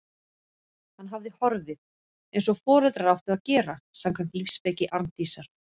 Hann hafði horfið- eins og foreldrar áttu að gera, samkvæmt lífsspeki Arndísar.